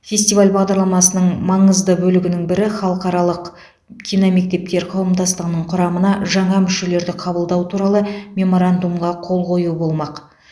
фестиваль бағдарламасының маңызды бөлігінің бірі халықаралық киномектептер қауымдастығының құрамына жаңа мүшелерді қабылдау туралы меморандумға қол қою болмақ